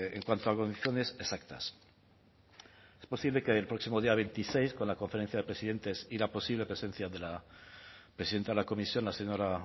en cuanto a condiciones exactas es posible que el próximo día veintiséis con la conferencia de presidentes y la posible presencia de la presidenta la comisión la señora